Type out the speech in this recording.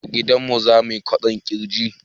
A gidanmu zamuyi kwaɗon girji